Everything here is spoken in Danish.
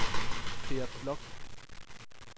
Per Bloch